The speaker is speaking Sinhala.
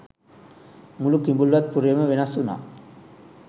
මුළු කිඹුල්වත් පුරයම වෙනස් වුනා.